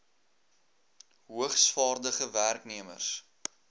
hoogs vaardige werknemers